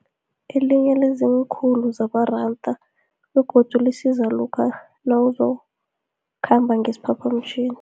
Elinye liziinkhulu zamaranda, begodu lisiza lokha nawuzokhamba ngesiphaphamtjhini.